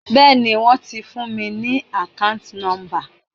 Bẹ́ẹ̀ni wón ti fún mi ní akanti nomba.